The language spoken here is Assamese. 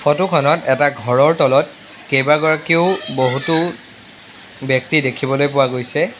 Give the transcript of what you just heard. ফটো খনত এটা ঘৰৰ তলত কেবাগৰাকিও বহুটো ব্যক্তি দেখিবলৈ পোৱা গৈছে।